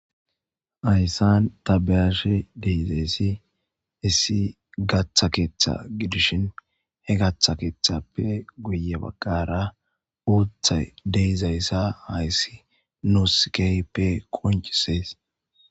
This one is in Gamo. Hayissan ta be'ashe dizayisi issi gaththa keththa gidishin he gaththa keththappe guye baggara uuthay dizayisa hayissi nusi kehippe qonccises.